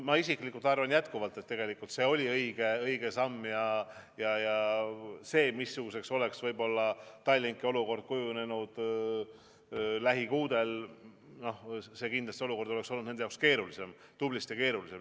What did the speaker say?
Ma isiklikult arvan jätkuvalt, et tegelikult see oli õige samm, ja see, missuguseks oleks võib-olla Tallinki olukord kujunenud lähikuudel, see kindlasti oleks olnud nende jaoks keerulisem, tublisti keerulisem.